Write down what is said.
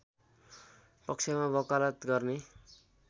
पक्षमा वकालत गर्ने